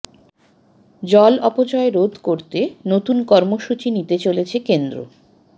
জল অপচয় রোধ করতে তাি নতুন কর্মসূচী নিতে চলেছে কেন্দ্র